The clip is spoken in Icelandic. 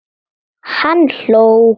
Hann hló.